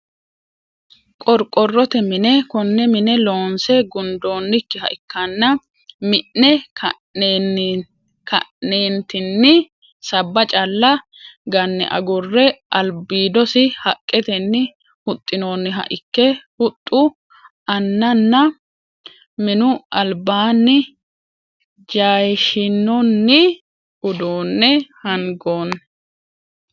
Qorqorote mine, kone mine loonse gundonikkiha ikkanna mi'ne ka'neentinni saba cala gane agure alibidosi haqetenni huxxinonihha ikke huxu aannanna minu alibanni jayishinonni uduune hangoni